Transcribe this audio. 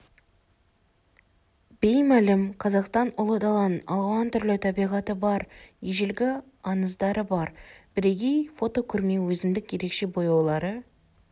беймәлім қазақстан ұлы даланың алуан түрлі табиғаты бар ежелгі аңыздары бар бірегей фотокөрме өзіндік ерекше бояулары